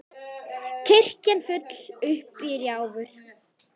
Kirkjan full upp í rjáfur.